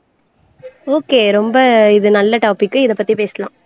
okay ரொம்ப இது நல்ல டாபிக் இதைப் பத்தி பேசலாம்